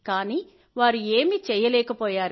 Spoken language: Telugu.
కానీ వారు ఏమీ చేయలేకపోయారు